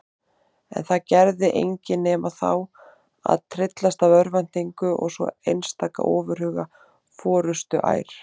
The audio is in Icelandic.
En það gerði engin nema þá að tryllast af örvæntingu og svo einstaka ofurhuga forustuær.